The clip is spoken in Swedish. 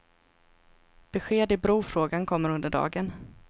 Besked i brofrågan kommer under dagen.